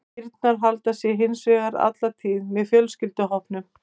Kýrnar halda sig hins vegar alla tíð með fjölskylduhópnum.